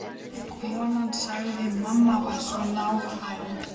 Konan sagði: Mamma var svo nákvæm.